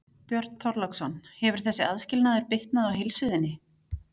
Björn Þorláksson: Hefur þessi aðskilnaður bitnað á heilsu þinni?